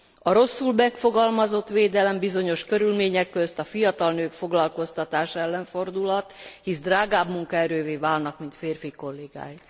A rosszul megfogalmazott védelem bizonyos körülmények közt a fiatal nők foglalkoztatása ellen fordulhat, hisz drágább munkaerővé válnak, mint férfi kollégáik.